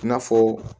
I n'a fɔ